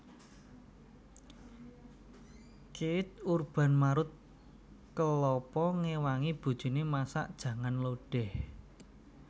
Keith Urban marut kelapa ngewangi bojone masak jangan lodeh